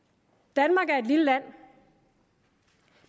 danmark er et lille land